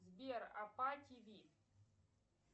сбер апа тв